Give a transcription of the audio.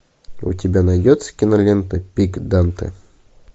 у тебя найдется кинолента пик данте